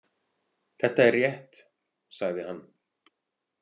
Þetta er rétt, sagði hann.